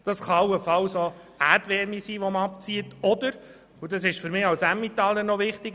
Das kann allenfalls auch Erdwärme sein, die abgezogen wird oder, was wir nicht vergessen dürfen: